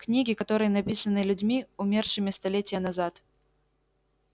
книги которые написаны людьми умершими столетия назад